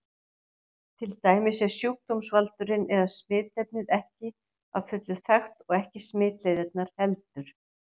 Til dæmis er sjúkdómsvaldurinn eða smitefnið ekki að fullu þekkt og ekki smitleiðirnar heldur.